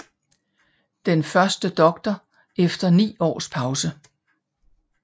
Den første doctor efter 9 års pause